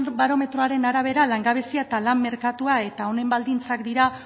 deustobarometroaren arabera langabezia eta lan merkatua eta honen baldintzak dira